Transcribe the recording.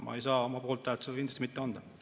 Mina ei saa oma poolthäält sellele kindlasti mitte anda.